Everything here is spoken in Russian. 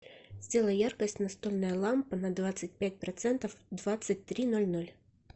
сделай яркость настольная лампа на двадцать пять процентов в двадцать три ноль ноль